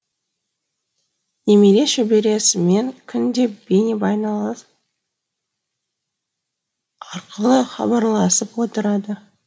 немере шөбересімен күнде бейнебайланыс арқылы хабарласып отырады